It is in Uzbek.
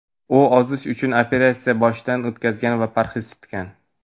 U ozish uchun operatsiyani boshidan o‘tkazgan va parhez tutgan.